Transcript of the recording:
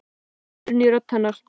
Það var undrun í rödd hennar.